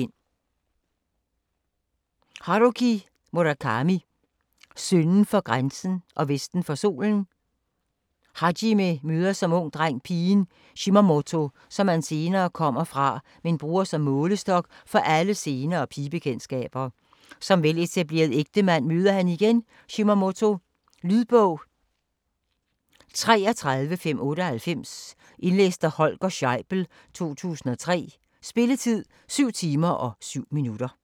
Murakami, Haruki: Sønden for grænsen og vesten for solen Hajime møder som ung dreng pigen Shimamoto, som han senere kommer fra, men bruger som målestok for alle senere pigebekendtskaber. Som veletableret ægtemand møder han igen Shimamoto. Lydbog 33598 Indlæst af Holger Scheibel, 2003. Spilletid: 7 timer, 7 minutter.